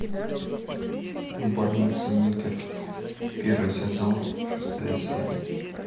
больница никер первый сезон шестая серия